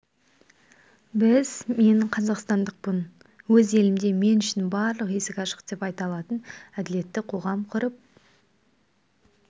біз мен қазақстандықпын өз елімде мен үшін барлық есік ашық деп айта алатын әділетті қоғам құрып